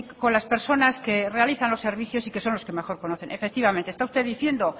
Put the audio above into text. con las personas que realizan los servicios y que son los que mejor conocen efectivamente está usted diciendo